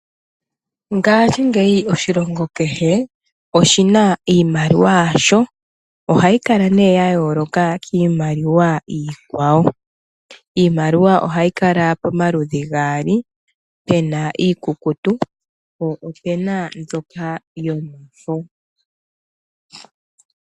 Mongashingeyi oshilongo kehe oshina iimaliwa yasho. Ohayi kala nee ya yoloka kiimaliwa iikwawo. Iimaliwa ohayi kala pamaludhi gaali. Pena iikukutu po opena mbyoka yomafo.